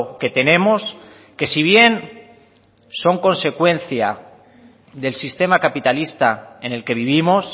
que tenemos que si bien son consecuencia del sistema capitalista en el que vivimos